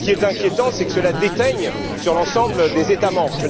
Ce qui serait inquiétant, c'est que cela déteigne sur l'ensemble des États membres.